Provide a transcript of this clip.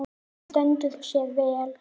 Hann stendur sig vel.